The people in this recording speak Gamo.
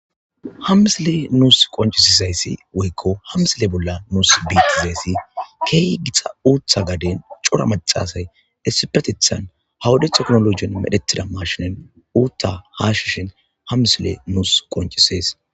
Ha misile nus qonccisizayssi woyko nus ha misile bolla bettizaysi kehi giita uththa gaden cora macca asay issippetetethan ha wode technologen mfdhetida mashinen uththa hashishe dizayssa ha misiley nus gonccisses.